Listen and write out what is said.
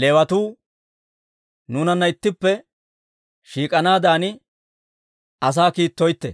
Leewatuu nuunanna ittippe shiik'anaadan asaa kiittoytte.